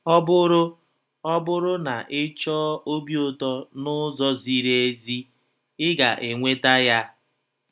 Ọ bụrụ Ọ bụrụ na ị chọọ obi ụtọ n’ụzọ ziri ezi, ị ga - enweta ya.